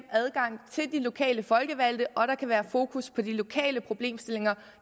adgang til de lokale folkevalgte og der kan være fokus på de lokale problemstillinger